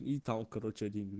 и там короче один